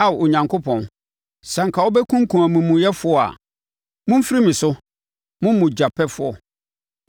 Ao Onyankopɔn, sɛ anka wobɛkumkum amumuyɛfoɔ a! Momfiri me so, mo mogyapɛfoɔ!